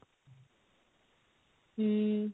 ହୁଁ